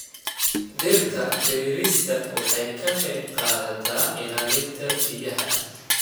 Dhirta beerista waxay ka qayb qaadataa ilaalinta biyaha.